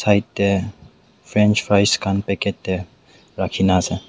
etey french fries khan packet tey raki kena ase.